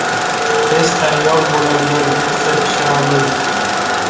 Tez tayyor bo‘ladigan pitssa pishiramiz.